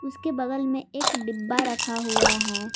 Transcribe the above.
उसके बगल में एक डिब्बा रखा हुआ है।